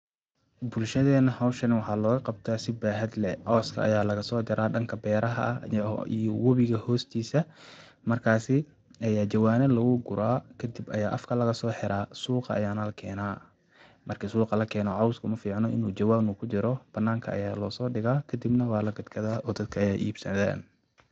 Bulshadenah hoshan waxa logaqabta si baxad leh, coska aya lasojara danka beraha iyo wobiga hostisa markasi aya jawana lagu gura kadib aya afka lagasoxira kadib suqa ayana lakenah, marki suqa lakeno cosku maficno inu jawanka kujiro bananka aya losodiga kadibnah walagadgadha oo dadka ayaibsadha.